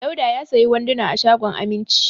Dauda ya sayi wanduna a shagon Aminci.